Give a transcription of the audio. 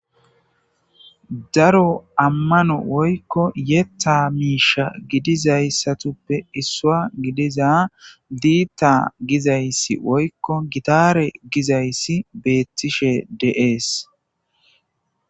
daro ammano woykko yetta miisha gidizayssatuppe issua gidiza diitta gizayssi woykko gitare gizayssi beettishe deees